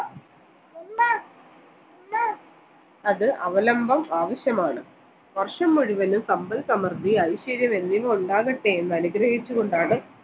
അത് അവലംബം ആവശ്യമാണ് വർഷം മുഴുവനും സമ്പദ് സമൃദ്ധി ഐശ്വര്യം എന്നിവ ഉണ്ടാകട്ടെ എന്ന് അനുഗ്രഹിച്ച് കൊണ്ടാണ്